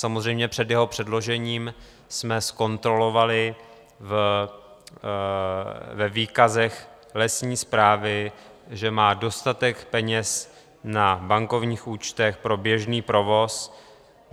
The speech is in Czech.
Samozřejmě před jeho předložením jsme zkontrolovali ve výkazech lesní správy, že má dostatek peněz na bankovních účtech pro běžný provoz.